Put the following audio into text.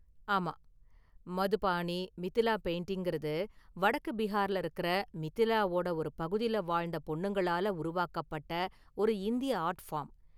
ஆமா, மதுபாணி மிதிலா பெயிண்டிங் கறது வடக்கு பிஹார்ல இருக்கற மிதிலாவோட ஒரு பகுதில வாழ்ந்த​ பொண்ணுங்களால உருவாக்கப்பட்ட ஒரு இந்திய​ ஆர்ட் ஃபார்ம்.